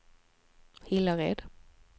Hillared